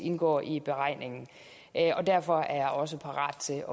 indgår i beregningen derfor er jeg også parat til